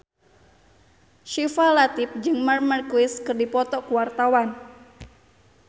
Syifa Latief jeung Marc Marquez keur dipoto ku wartawan